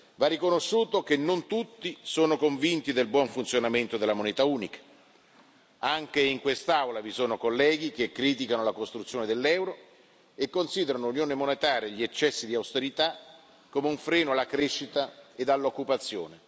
Va riconosciuto che non tutti sono convinti del buon funzionamento della moneta unica, anche in quest'Aula vi sono colleghi che criticano la costruzione dell'euro e considerano l'unione monetaria e gli eccessi di austerità come un freno alla crescita e all'occupazione.